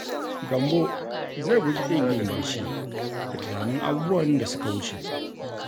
Gambo zai guji ƙin yin barci da tunanin abubuwan da suka wuce.